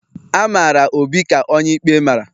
A mara Obi ka onye ikpe mara